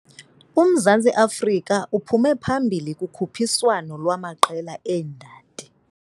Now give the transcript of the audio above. UMzantsi Afrika uphume phambili kukhutshiswano lwaamaqela eendadi.